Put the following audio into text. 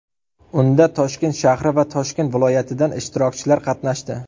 Unda Toshkent shahri va Toshkent viloyatidan ishtirokchilar qatnashdi.